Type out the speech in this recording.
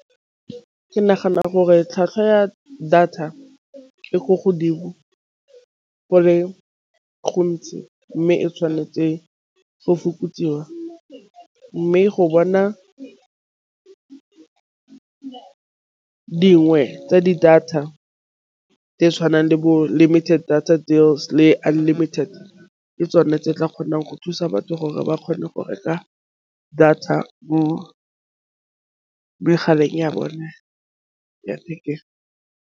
Ke nagana gore tlhwatlhwa ya data e ko godimo go le gontsi, mme e tšhwanetse go fokotsiwa mme go bona dingwe tsa di-data tse tšhwanang le bo limited data deals le unlimited ke tsone tse di tla kgonang go thusa batho gore ba kgone go reka data mo megaleng ya bone ya thekeng.